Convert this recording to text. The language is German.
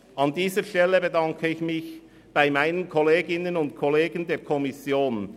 An dieser Stelle bedanke ich mich bei meinen Kolleginnen und Kollegen der FiKo.